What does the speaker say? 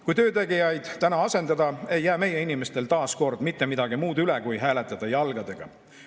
Kui töötegijaid täna asendada, ei jää meie inimestel taas kord mitte midagi muud üle, kui hääletada jalgadega.